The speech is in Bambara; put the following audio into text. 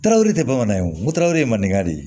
Tarawele te bamanan ye wo tarawere malikan de